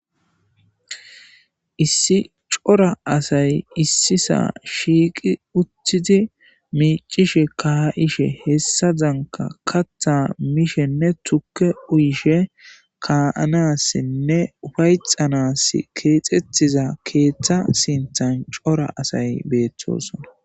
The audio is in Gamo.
issi cora asay issisaa shiiqi uttidi miicishe ka7ishe hessa zanka katha mishenne tukke uyishe kaa7anassinne ufayxanas keexettiza keeththa sinthan cora asay beettosona